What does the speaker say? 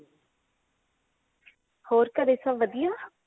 ਹੋਰ ਘਰੇ ਸਬ ਵਧੀਆਂ